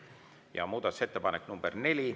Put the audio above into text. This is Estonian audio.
Ja muudatusettepanek nr 4.